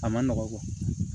A ma nɔgɔ